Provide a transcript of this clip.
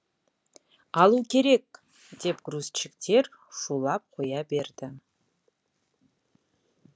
алу керек деп грузчиктер шулап қоя берді